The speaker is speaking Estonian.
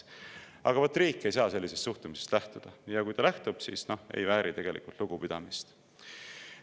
" Aga vot riik ei saa sellisest suhtumisest lähtuda ja kui lähtub, siis ta ei vääri tegelikult lugupidamist.